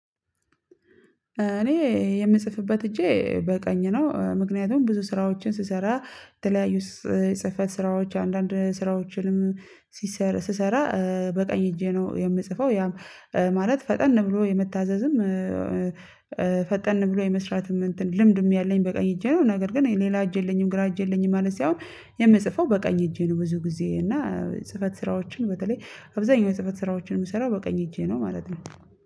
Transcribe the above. እኔ የምጽፍበት እጄ በቀኝ ነው ምክንያቱም ብዙ ስራዎችን ስሰራ የተለያዩ ጽህፈት ስራዎች አንዳንድ ስራዎችንም ሲሰራ ስሰራ በቀኝ ሄጄ ነው የምጽፈው ማለት ፈጠን ብሎ የመታዘዝም ፈጠን ብሎ የመስራትም እንትን ልምድም ያለኝ በቀኝ እጄ ነው። ነገር ግን ሌላ እጄ የለኝም ግራ እጄ የለኝም ማለት ሳይሆን የምጽፈው በቀኝ እጄ ነው። ብዙ ጊዜ እና ጽህፈት ስራዎችን በተለይ አብዛኛው የጽህፈት ስራዎችን የምሰራው በቀኝ እጄ ነው ማለት ነው።